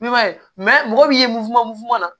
I b'a ye mɔgɔ min ye mun fula mun fununa